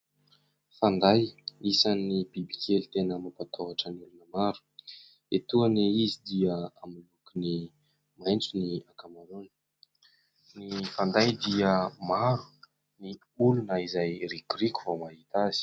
Fanday : isan'ny biby kely tena mampatahotra ny olona maro. Etoana izy dia amin'ny lokony maitso ny ankamaroany. Ny fanday dia maro ny olona izay rikoriko vao mahita azy.